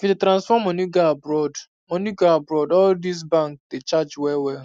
if you dey transfer money go abroad money go abroad all these bank dey charge well well